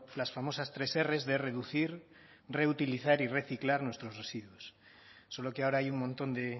las famosas tres erres de reducir reutilizar y reciclar nuestros residuos solo que ahora hay un montón de